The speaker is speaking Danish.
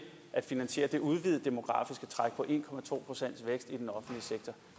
at finansiere det udvidede demografiske træk på en procent vækst i den offentlige sektor